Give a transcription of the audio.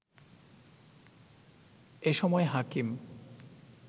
এ সময় হাকিম